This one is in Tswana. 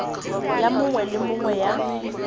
ya mongwe le mongwe ya